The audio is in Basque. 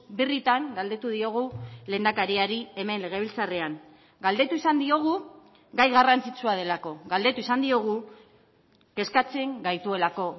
birritan galdetu diogu lehendakariari hemen legebiltzarrean galdetu izan diogu gai garrantzitsua delako galdetu izan diogu kezkatzen gaituelako